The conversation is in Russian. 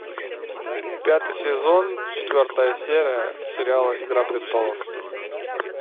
пятый сезон четвертая серия сериала игра престолов